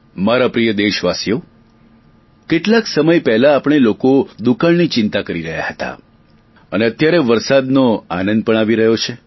મારા પ્રિય દેશવાસીઓ કેટલાક સમય પહેલા આપણે લોકો દુકાળની ચિંતા કરી રહ્યા હતા અને અત્યારે વરસાદનો આનંદ પણ આવી રહ્યો છે